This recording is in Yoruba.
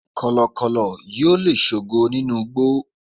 kọlọkọlọ yíò le sogo ninu igbó